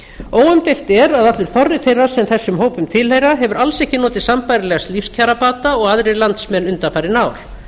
óumdeilt er að allur þorri þeirra sem þessum hópum tilheyra hefur alls ekki notið sambærilegs lífskjarabata og aðrir landsmenn undanfarin ár